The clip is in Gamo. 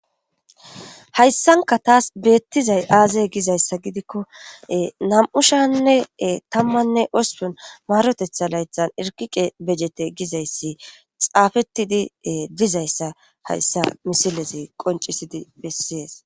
Hayssanikka tassi beettizay aazee gizayssa iza gidikko nam'ushanne tammanne hospun maarotetaa laytaan irqiqe bejete gizayssi xaafettidi dizayssa hayssa misileze qoncisidi bessees.